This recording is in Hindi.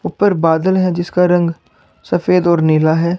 ऊपर बादल है जिसका रंग सफेद और नीला है।